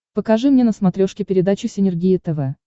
покажи мне на смотрешке передачу синергия тв